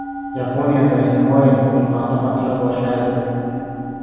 Yaponiyada Simmoe vulqoni otila boshladi.